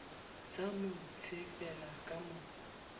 sa mo tsefele ka mo